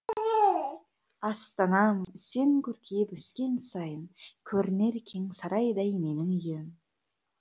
астанам сен көркейіп өскен сайын көрінер кең сарайдай менің үйім